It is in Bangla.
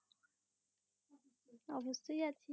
অব্যশই আছি